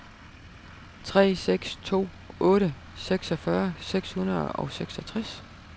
tre seks to otte seksogfyrre seks hundrede og seksogtres